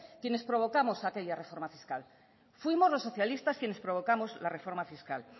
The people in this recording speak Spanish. quienes provocamos aquella reforma fiscal fuimos los socialistas quienes provocamos la reforma fiscal